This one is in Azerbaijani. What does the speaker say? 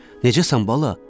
Necəsən bala?